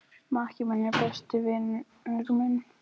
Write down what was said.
Maki minn er besti vinur minn.